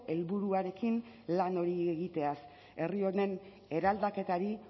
helburuarekin lan hori egiteaz herri honen eraldaketari